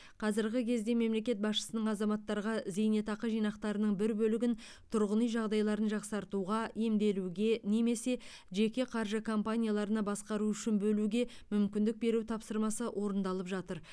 қазіргі кезде мемлекет басшысының азаматтарға зейнетақы жинақтарының бір бөлігін тұрғын үй жағдайларын жақсартуға емделуге немесе жеке қаржы компанияларына басқару үшін бөлуге мүмкіндік беру тапсырмасы орындалып жатыр